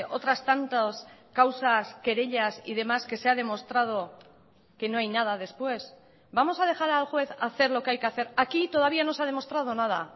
otras tantas causas querellas y demás que se ha demostrado que no hay nada después vamos a dejar al juez hacer lo que hay que hacer aquí todavía no se ha demostrado nada